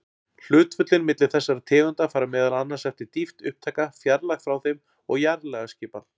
Hlutföllin milli þessara tegunda fara meðal annars eftir dýpt upptaka, fjarlægð frá þeim og jarðlagaskipan.